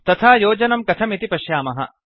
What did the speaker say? तथा योजनं कथमिति पश्यामः